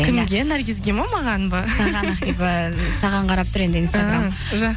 наргизге ме маған ба саған қарап тұр енді